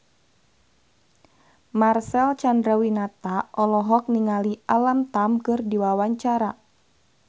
Marcel Chandrawinata olohok ningali Alam Tam keur diwawancara